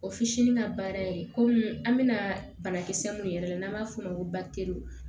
O fitinin ka baara ye komi an bɛna banakisɛ minnu yɛrɛ n'an b'a fɔ o ma ko